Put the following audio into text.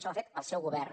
això ha fet el seu govern